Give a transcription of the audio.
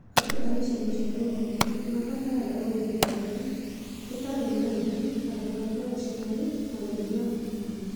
Andũ a icigo cia rũgongo nĩ mabataraga ũrigitani ũtarĩ marĩhi ta kũbanga ũciarina gũthima mũkingo